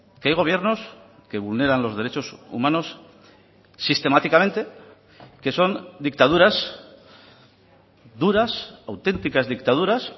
que hay gobiernos que vulneran los derechos humanos sistemáticamente que son dictaduras duras auténticas dictaduras